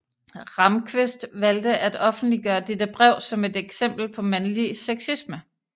Ramqvist valgte at offentliggøre dette brev som et eksempel på mandlig sexisme